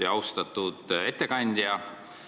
Väga lugupeetud ettekandja!